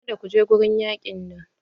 Kada kuje wurin yaƙin nan!